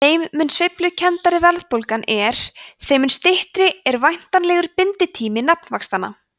þeim mun sveiflukenndari verðbólgan er þeim mun styttri er væntanlega binditími nafnvaxtanna